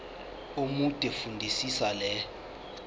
omude fundisisa le